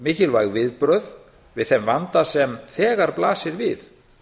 mikilvæg viðbrögð við þeim vanda sem þegar blasir við